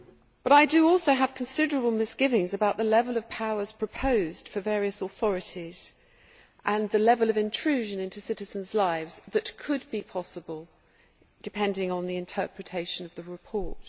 But I also have considerable misgivings about the level of powers proposed for various authorities and the level of intrusion into citizens' lives that could be possible, depending on the interpretation of the report.